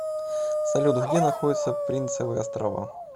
салют где находится принцевы острова